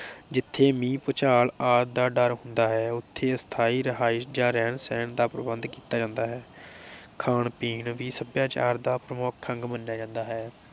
ਜਿਥੇ ਮੀਹ, ਭੂਚਾਲ, ਆਦਿ ਦਾ ਡਰ ਹੁੰਦਾ ਹੈ ਉਥੇ ਅਸਥਾਈ ਰਿਹਾਇਸ਼ ਜਾ ਰਹਿਣ ਸਹਿਣ ਦਾ ਪ੍ਰਬੰਧ ਕੀਤਾ ਜਾਂਦਾ ਹੈ । ਖਾਣ ਪੀਣ ਵੀ ਸਭਿਆਚਾਰ ਦਾ ਪ੍ਰਮੁੱਖ ਅੰਗ ਮੰਨਿਆ ਜਾਂਦਾ ਹੈ ।